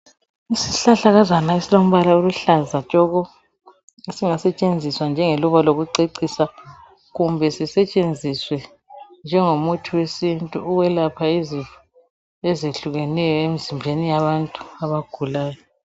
Isihlahlakazana esilombala oluhlaza tshoko esingasetshenziswa njengeluba lokucecisa kumbe sisetshenziswe njengomuthi wesintu ukwelapha izifo ezehlukeneyo emzimbeni yabantu abagulayo.